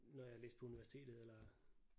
Når jeg læste på universitetet eller